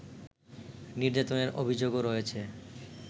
নির্যাতনের অভিযোগও রয়েছে